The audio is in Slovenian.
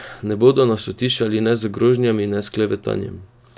Ne bodo nas utišali ne z grožnjami, ne s klevetanjem.